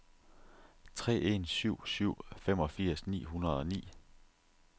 tre en syv syv femogfirs ni hundrede og ni